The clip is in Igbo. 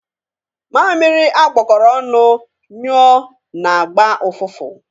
Mamịrị a gbakọrọ ọnụ nyụọ na-agba ụfụfụ.